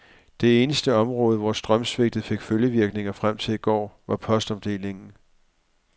Det eneste område, hvor strømsvigtet fik følgevirkninger frem til i går, var postomdelingen.